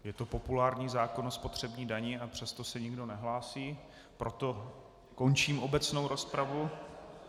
Je to populární zákon o spotřební dani, a přesto se nikdo nehlásí, proto končím obecnou rozpravu.